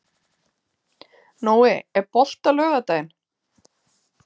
Nói, er bolti á laugardaginn?